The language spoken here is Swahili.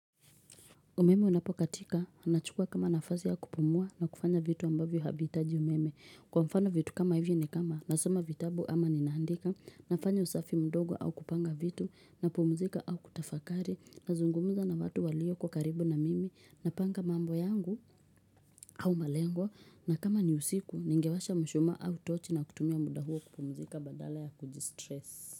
Umeme unapokatika, anachukua kama nafasi ya kupumua na kufanya vitu ambavyo havihitaji umeme. Kwa mfano vitu kama hivyo ni kama, nasoma vitabu ama ninaandika, nafanya usafi mdogo au kupanga vitu, na pumzika au kutafakari, nazungumza na watu walioko karibu na mimi, napanga mambo yangu au malengwa, na kama ni usiku, ningewasha mshuma au tochi na kutumia muda huo kupumuzika badala ya kujistress.